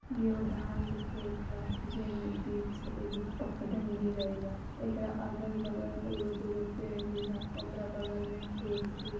इ एगो धान के खेत बा जेहमे बीच से एगो पगडण्डी गईल बा। एकरा अगल बगल एगो दुगो पेड़ भी बा। ओकरा बगल में खेत भी --